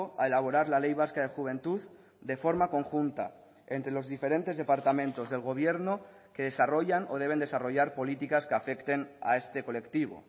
a elaborar la ley vasca de juventud de forma conjunta entre los diferentes departamentos del gobierno que desarrollan o deben desarrollar políticas que afecten a este colectivo